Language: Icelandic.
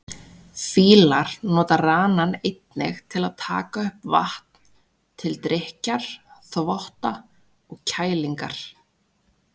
Fílar nota ranann einnig til að taka upp vatn, til drykkjar, þvotta og kælingar.